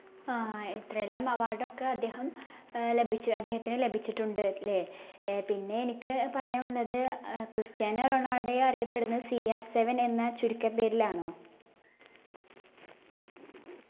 ആ എത്രെയെല്ലാം award ഒക്കെ അദ്ദേഹം ഏർ ലഭിച്ചു അദ്ദേഹത്തിന് ലഭിച്ചിട്ടുണ്ട് ല്ലേ ഏർ പിന്നെ എനിക്ക് പറയാൻ ഉള്ളത് ഏർ ക്രിസ്റ്റ്യാനോ റൊണാൾഡോയെ അറിയപ്പെടുന്നത് CR7 എന്ന ചുരുക്കപ്പേരിലാണോ